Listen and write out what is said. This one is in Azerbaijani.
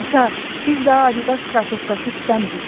Ata, biz daha Adidas krossovkası istəmirik.